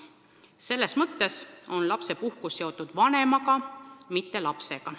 Selles mõttes on lapsepuhkus seotud vanemaga, mitte lapsega.